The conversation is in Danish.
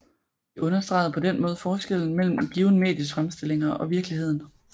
De understregede på den måde forskellen mellem et givent medies fremstillinger og virkeligheden